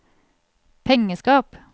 pengeskap